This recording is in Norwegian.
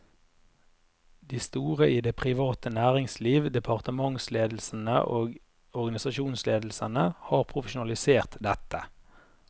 De store i det private næringsliv, departementsledelsene og organisasjonsledelsene har profesjonalisert dette.